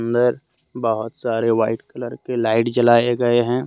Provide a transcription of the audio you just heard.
अन्दर बहुत सारे व्हाइट कलर के लाइट जलाए गए है।